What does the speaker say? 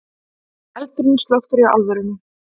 Eldurinn slökktur í álverinu